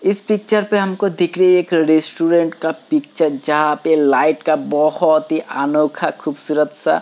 इस पिक्चर पे हमको दिख रही है स्टूडेंट का पिक्चर जहाँ पे लाइट का बहुत ही अनोखा खूबसूरत सा --